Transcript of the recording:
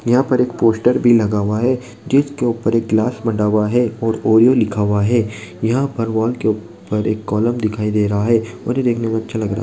यहां पर एक पोस्टर भी लगा हुआ है। जिसके ऊपर एक गिलास बंधा हुआ है और ओयो लिखा हुआ है। यहां पर वॉल के ऊपर एक कॉलम दिखाई दे रहा है और यह देखने में अच्छा लग रहा है।